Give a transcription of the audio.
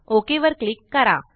okay वर click करा